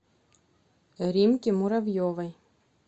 римке муравьевой